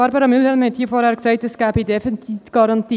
Barbara Mühlheim hat vorhin gesagt, es gebe Defizitgarantien.